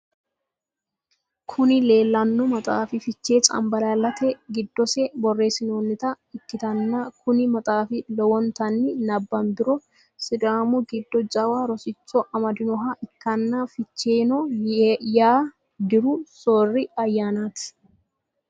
Kuni lelano maxaffi fichchee canibaallalalita gidose borressinnonita ikitana koni maxaffi lowonitani nabbanibiro sidaamu gido jawa rossicho amadinoha ikana fichcheeno yaa dirru sorri ayanati.